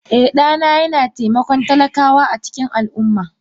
Eh, dana yana taimakon talakawa a cikin al’umma